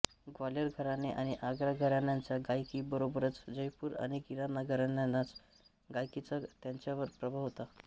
ग्वाल्हेर घराणे आणि आग्रा घराण्यांच्या गायकी बरोबरच जयपूर आणि किराणा घराण्यांच्या गायकीचा त्यांच्यावर प्रभाव होता